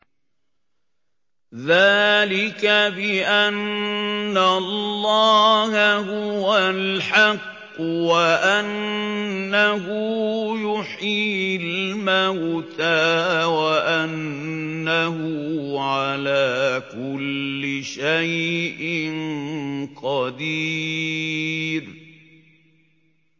ذَٰلِكَ بِأَنَّ اللَّهَ هُوَ الْحَقُّ وَأَنَّهُ يُحْيِي الْمَوْتَىٰ وَأَنَّهُ عَلَىٰ كُلِّ شَيْءٍ قَدِيرٌ